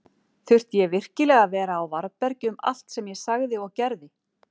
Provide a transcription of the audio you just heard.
Þurfti ég virkilega að vera á varðbergi um allt sem ég sagði og gerði?